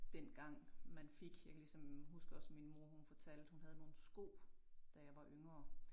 Dengang man fik jeg kan ligesom huske også min mor hun fortalte hun havde nogle sko da jeg var yngre